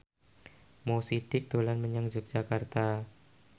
Mo Sidik dolan menyang Yogyakarta